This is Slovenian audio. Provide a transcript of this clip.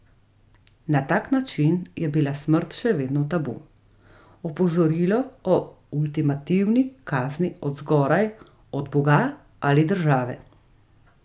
Na tak način je bila smrt še vedno tabu, opozorilo o ultimativni kazni od zgoraj, od boga ali države.